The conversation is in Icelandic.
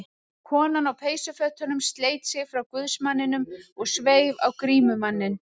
Konan á peysufötunum sleit sig frá guðsmanninum og sveif á grímumanninn.